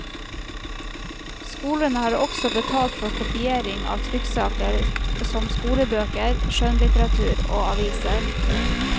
Skolene har også betalt for kopiering av trykksaker som skolebøker, skjønnlitteratur og aviser.